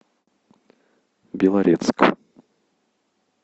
белорецк